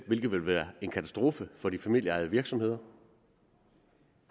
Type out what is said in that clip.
hvilket ville være en katastrofe for de familieejede virksomheder